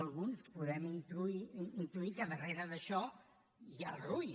alguns podem intuir que darrere d’això hi ha el rui